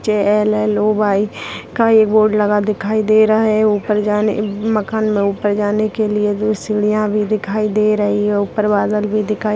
_एल_एल_ओ_वाई का य बोर्ड लगा दिखाई दे रहा है ऊपर जाने मकान में ऊपर जाने के लिए दो सीढ़िया भी दिखाई दे रहे है ऊपर बादल भी दिखाई--